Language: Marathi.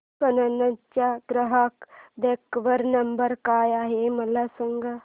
कॅनन चा ग्राहक देखभाल नंबर काय आहे मला सांग